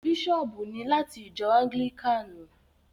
Bishop ni lati ìjọ anglikani.